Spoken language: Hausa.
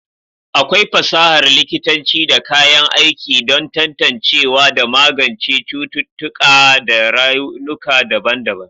akwai fasahar likitanci da kayan aiki don tantancewa da magance cututtuƙa da raunuka daban-daban